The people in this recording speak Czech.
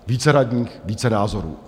Více radních, více názorů.